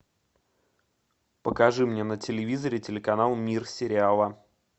покажи мне на телевизоре телеканал мир сериала